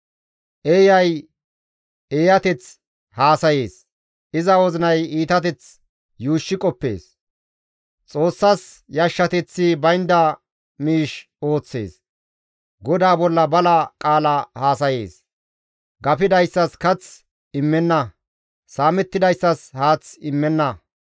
Eeyay eeyateth haasayees; iza wozinay iitateth yuushshi qoppees; Xoossas yashshateththi baynda miish ooththees; GODAA bolla bala qaala haasayees; gafidayssas kath immenna; saamettidayssas haath immenna.